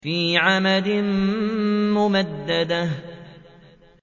فِي عَمَدٍ مُّمَدَّدَةٍ